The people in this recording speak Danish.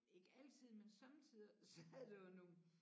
Ikke altid men somme tider sad der jo nogle